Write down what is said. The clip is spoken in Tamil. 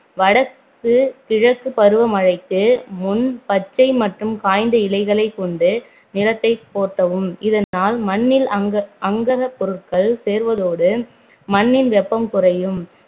வடக்கு கிழக்கு பருவ மழைக்கு முன் பச்சை மற்றும் காய்ந்த இலைகளைக் கொண்டு நிலத்தை போர்த்தவும் இதனால் மண்ணில் அங்க~ அங்கக பொருள் சேர்வதோடு மண்ணில் வெப்பம் குறையும்